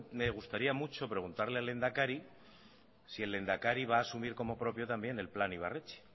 me gustaría mucho preguntarle al lehendakari si el lehendakari va a asumir como propio también el plan ibarretxe